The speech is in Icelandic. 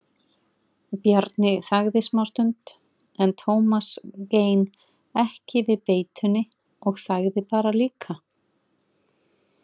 Bjarni þagði smástund en Tómas gein ekki við beitunni og þagði bara líka.